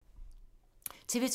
TV 2